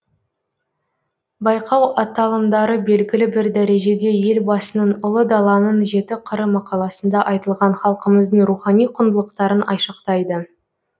байқау аталымдары белгілі бір дәрежеде елбасының ұлы даланың жеті қыры мақаласында айтылған халқымыздың рухани құндылықтарын айшықтайды